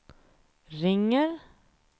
ringer